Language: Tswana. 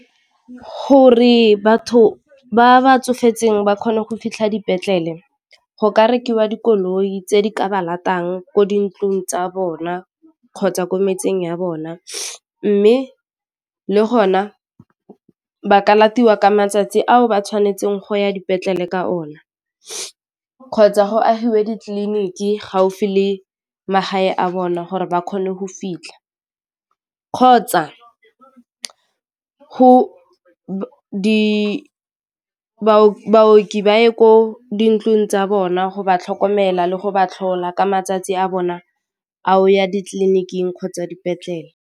Gore batho ba ba tsofetseng ba kgone go fitlha dipetlele go ka rekiwa dikoloi tse di ka ba latang ko dintlong tsa bona kgotsa ko metseng ya bona mme le gona ba ka latelwa ka matsatsi ao ba tshwanetseng go ya dipetlele ka ona kgotsa go agiwe ditleliniki gaufi le magae a bona gore ba kgone go fitlha kgotsa baoki ba ye ko dintlong tsa bona go ba tlhokomela le go ba tlhola ka matsatsi a bona a go ya ditleliniking kgotsa dipetlele.